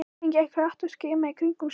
Hann gekk hratt og skimaði í kringum sig.